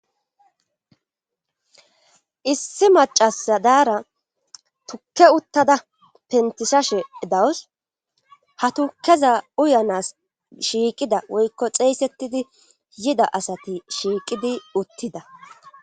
Issi macasa daara tukke uttada pentishashe dawus ha tukeza uyanas shiiqida woykko xeeysettidi yida asati shiiqidi uttida.